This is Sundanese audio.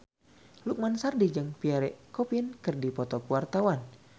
Lukman Sardi jeung Pierre Coffin keur dipoto ku wartawan